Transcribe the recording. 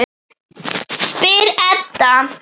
spyr Edda.